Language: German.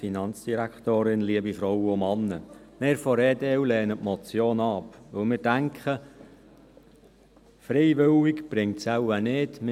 Wir von der EDU lehnen die Motion ab, weil wir denken, dass es auf freiwilliger Basis nichts bringt.